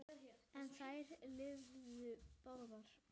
En þær lifðu báðar.